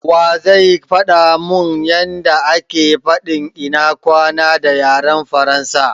Wa zai faɗa mun yanda ake fadin " ina kwana" a yaren Faransa?